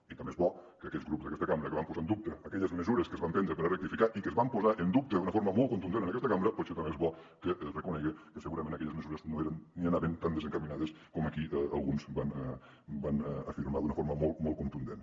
i també és bo que aquests grups d’aquesta cambra que van posar en dubte aquelles mesures que es van prendre per rectificar i que es van posar en dubte d’una forma molt contundent en aquesta cambra potser també és bo que reconeguen que segurament aquelles mesures no eren ni anaven tan desencaminades com aquí alguns van afirmar d’una forma molt molt contundent